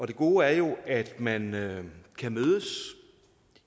det gode er jo at man kan mødes